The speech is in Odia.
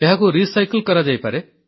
ଏହାକୁ ପୁନଃଚକ୍ରଣ କରାଯାଇପାରେ